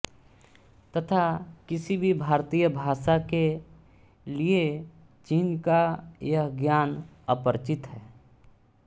तथा किसी भी भारतीय भाषा के लिए चीन का यह ज्ञान अपरिचित है